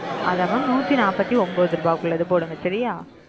அத mam நுதினபதி ஒன்பதுருபைக்கு உள்ளது போடுங்க சரியா